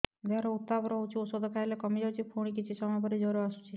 ଦେହର ଉତ୍ତାପ ରହୁଛି ଔଷଧ ଖାଇଲେ କମିଯାଉଛି ପୁଣି କିଛି ସମୟ ପରେ ଜ୍ୱର ଆସୁଛି